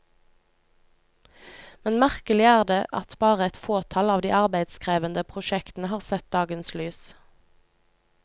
Men merkelig er det at bare et fåtall av de arbeidskrevende prosjektene har sett dagens lys.